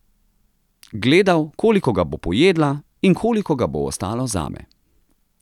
Gledal, koliko ga bo pojedla in koliko ga bo ostalo zame.